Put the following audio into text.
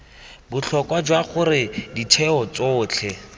botlhokwa jwa gore ditheo tsotlhe